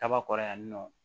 Kaba kɔrɔ yan nɔ